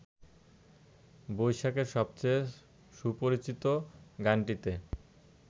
বৈশাখের সবচেয়ে সুপরিচিত গানটিতে